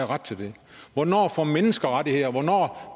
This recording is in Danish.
ret til det hvornår får mennesker rettigheder hvornår